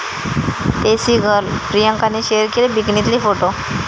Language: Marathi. देसी गर्ल' प्रियांकाने शेअर केले बिकनीतले फोटो